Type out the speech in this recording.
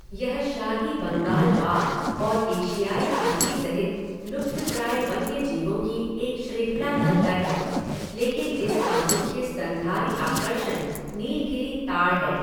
यह शाही बंगाल बाघ और एशियाई हाथी सहित लुप्तप्राय वन्यजीवों की एक श्रृंखला का घर है, लेकिन इसका मुख्य स्तनधारी आकर्षण नीलगिरी ताड़ है।